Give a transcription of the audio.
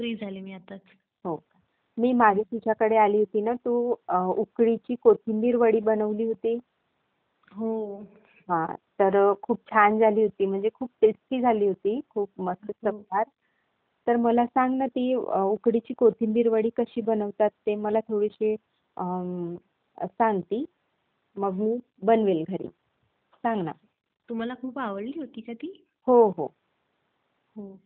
त्यामुळे तिथे आता आपल्याकडे गायी आहेत त्यांच्या चारची व्यवस्था करायची आहे चारा कमी पडतोय. आपल्या शेतामध्ये चारा पीक उत्पादन कसं करता येईल कुठल्या नवीन वरायटीस आहेत त्यातल्या. त्याच्या साठी म्हणून मी आलोय कारण आता काय झालाय. पशुखाद्य आणि याच्या दर खूप वाढले त्यामुळे चारा पीक जितका चांगल्या प्रतीचा असेल त्यामुळे पशुखाद्याचा खर्च कमी होईल आणि शिवाय दूध उत्पादन हि वाढेल.